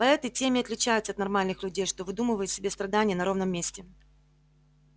поэты тем и отличаются от нормальных людей что выдумывают себе страдания на ровном месте